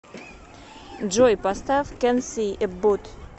джой поставь кенси эббот